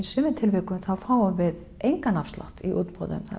sumu tilvikum fáum við engan afslátt í útboðum